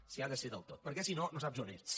s’hi ha de ser del tot perquè si no no saps on ets